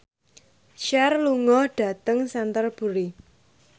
Cher lunga dhateng Canterbury